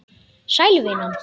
Sæl, vinan.